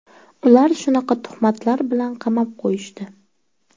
Ular shunaqa tuhmatlar bilan qamab qo‘yishdi.